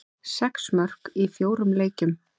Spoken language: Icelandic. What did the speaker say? Sex mörk í fjórum leikjum.